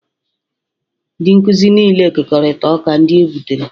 Ndị nkuzi niile kekọrịtara ọka ndị e gbutere